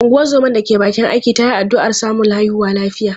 Ungozoma da ke bakin aiki ta yi ta addu’ar samun haihuwa lafiya.